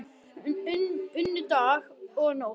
Unnu dag og nótt